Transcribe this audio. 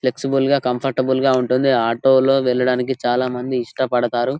Flexible గా comfortable గా ఉంటుంది ఆటో లో వెళ్లడానికి చాలా మంది ఇష్టపడతారు.